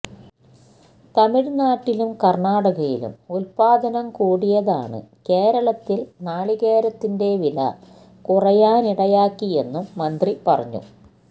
തമിഴ്നാട്ടിലും കര്ണാടകയിലും ഉത്പാദനം കൂടിയതാണ് കേരളത്തില് നാളികേരത്തിന്റെ വില കുറയാനിടയാക്കിയെന്നും മന്ത്രി പറഞ്ഞു